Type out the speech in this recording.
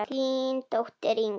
Þín dóttir, Inga.